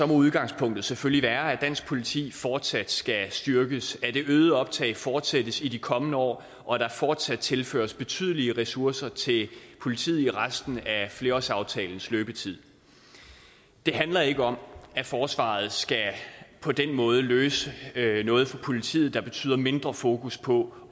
må udgangspunktet selvfølgelig være at dansk politi fortsat skal styrkes at det øgede optag fortsættes i de kommende år og at der fortsat tilføres betydelige ressourcer til politiet i resten af flerårsaftalens løbetid det handler ikke om at forsvaret på den måde skal løse noget for politiet der betyder mindre fokus på